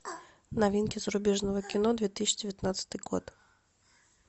новинки зарубежного кино две тысячи девятнадцатый год